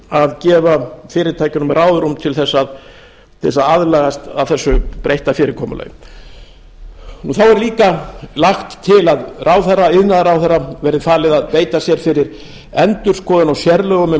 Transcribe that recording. að gefa fyrirtækjunum ráðrúm til þess að aðlagast þessu breytta fyrirkomulagi þá er líka lagt til að iðnaðarráðherra verði falið að beita sér fyrir endurskoðun á sérlögum um